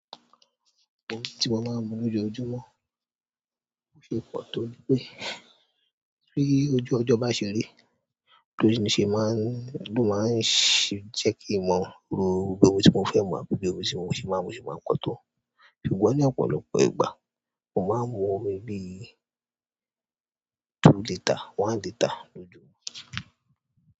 Omi tí mo máa ń mu lójoójúmọ́ be ṣe é pọ̀ to ní pé tí ojú ọjọ́ bá ṣe ri ló máa ń ṣ-- jẹ́ kí n mo rò pé omi tí mo fẹ́ mu àbí omi tí mo ṣe máa ń mu ṣe máa pọ̀ tó. Ṣùgbọ́n ní ọ̀pọ̀lọpọ̀ ìgbà, mo máa ń mu omi bí ì two litre, one litre lójúmọ́.